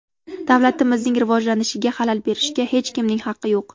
Davlatimizning rivojlanishiga xalal berishga hech kimning haqi yo‘q!